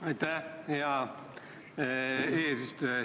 Aitäh, hea eesistuja!